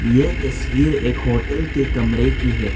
यह तस्वीर एक होटल के कमरे की है।